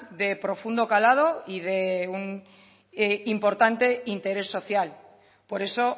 de profundo calado y de un importante interés social por eso